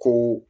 Ko